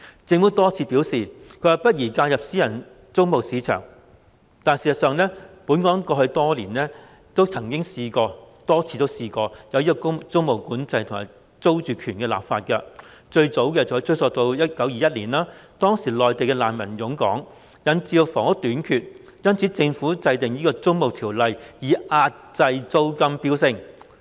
政府多次表示，不宜介入私人租務市場，但事實上，本港過去曾多次實施租務管制，以及就租住權立法，最早的例子可追溯至1921年，當時內地難民湧港，引致房屋短缺，因此政府制定《租務條例》，以遏抑租金飆升。